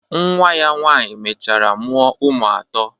Nwa ya nwaanyị mechara mụọ ụmụ atọ.